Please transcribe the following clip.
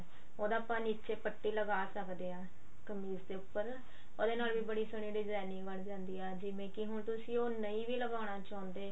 ਉਹਦਾ ਆਪਾਂ ਨੀਚੇ ਪੱਟੀ ਵਗੈਰਾ ਲਗਾ ਸਕਦੇ ਹਾਂ ਕਮੀਜ਼ ਦੇ ਉੱਪਰ ਉਹਦੇ ਨਾਲ ਵੀ ਬੜੀ ਸੋਹਣੀ designing ਬਣ ਜਾਂਦੀ ਆ ਜਿਵੇਂ ਕਿ ਹੁਣ ਤੁਸੀਂ ਉਹ ਨਹੀਂ ਵੀ ਲਗਨਾ ਚਾਹੁੰਦੇ